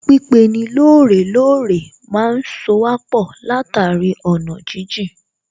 Pípeni lóòrè lóòrè má ń sowà pọ̀ látàrí ọ̀nà jíjìn